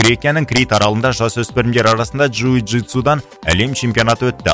грекияның крит аралында жасөспірімдер арасында джиу джитсудан әлем чемпионаты өтті